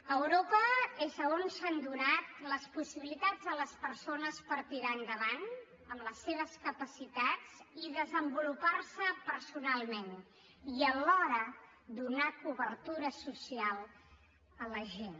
a europa és on s’han donat les possibilitats a les persones per tirar endavant amb les seves capacitats i desenvolupar se personalment i alhora donar cobertura social a la gent